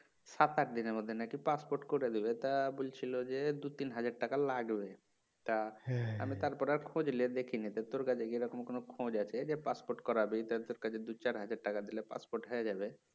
সাত আট দিনের মধ্যে নাকি পাসপোর্ট করে দিবে তা বলছিল যে দুই তিন হাজার টাকা লাগবে তা আমি তারপরে আর খোঁজ নিয়ে দেখিনি তো তোর কাছে কি এরকম কোনো খোঁজ আছে যে পাসপোর্ট করাবে যার কাছে দুই চার হাজার টাকা দিলে পাসপোর্ট হবে যাবে. "